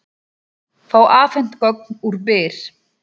Fá afhent gögn úr Byr